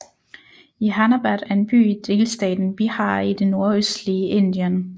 Jehanabad er en by i delstaten Bihar i det nordøstlige Indien